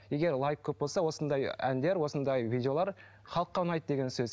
егер лайк көп болса осындай әндер осындай видеолар халыққа ұнайды деген сөз